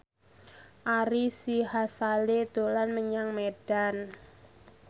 Ari Sihasale dolan menyang Medan